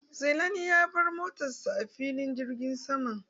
Zailani ya bar motan sa a filin jirgin sama.